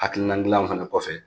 Hakilina dilanw fana kɔfɛ